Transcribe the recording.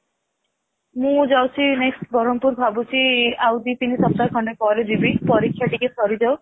ମୁଁ ଯାଉଛି next Berhampur ଭାବୁଛି ଆଉ ଦି ତିନି ସପ୍ତାହ ଖଣ୍ଡେ ପରେ ଯିବି ପରୀକ୍ଷା ଟିକେ ସରିଯାଉ